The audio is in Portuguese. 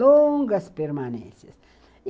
longas permanências.